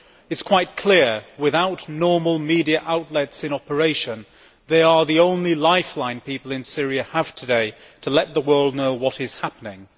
It is quite clear that, without normal media outlets in operation, online activists are the only lifeline that people in Syria have today to let the world know what is happening.